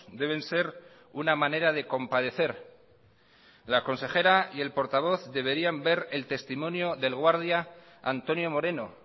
deben ser una manera de compadecer la consejera y el portavoz deberían ver el testimonio del guardia antonio moreno